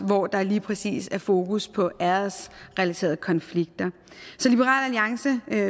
hvor der lige præcis er fokus på æresrelaterede konflikter så liberal alliance